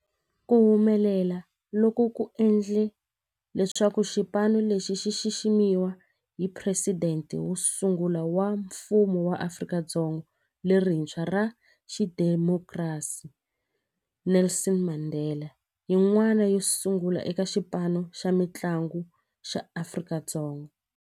Ku humelela loku ku endle leswaku xipano lexi xi xiximiwa hi Presidente wo sungula wa Mfumo wa Afrika-Dzonga lerintshwa ra xidemokirasi, Nelson Mandela, yin'wana yo sungula eka xipano xa mintlangu xa Afrika-Dzonga.